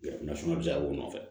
Jamana fana bɛ se ka k'u nɔfɛ